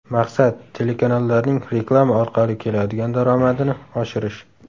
Maqsad – telekanallarning reklama orqali keladigan daromadini oshirish.